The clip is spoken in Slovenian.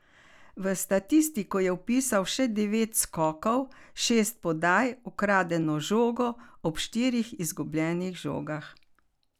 V statistiko je vpisal še devet skokov, šest podaj, ukradeno žogo, ob štirih izgubljenih žogah.